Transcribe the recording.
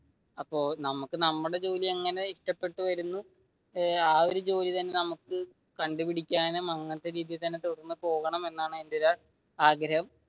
അപ്പൊ നമ്മുക്ക് നമ്മുടെ ജോലി അങ്ങനെ ഇഷ്ടപ്പെട്ടു വരുന്നു ആ ഒരു ജോലി തന്നെ നമുക്ക് കണ്ടുപിടിക്കാനും അങ്ങനത്തെ രീതിയിൽ തന്നെ തുടർന്ന് പോകണമെന്നാണ് എന്റെ ഒരു ആഗ്രഹം.